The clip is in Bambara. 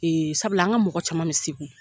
sabula an ka mɔgɔ caman bɛ Segu.